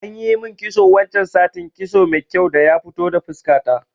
Anyi min kitso wancan satin, kitso mai kyau daya fito da fuska ta